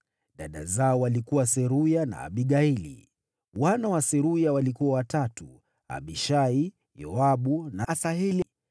Dada zao walikuwa Seruya na Abigaili. Wana wa Seruya walikuwa watatu: Abishai, Yoabu na Asaheli.